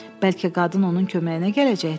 Bəlkə qadın onun köməyinə gələcəkdi?